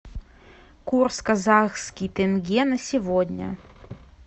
курс казахский тенге на сегодня